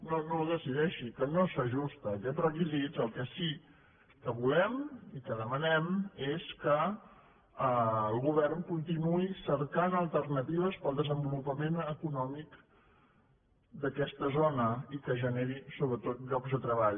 no no ho decideixi que no s’ajusta a aquests requisits el que sí que volem i que demanem és que el govern continuï cercant alternatives per al desenvolupament econòmic d’aquesta zona i que generi sobretot llocs de treball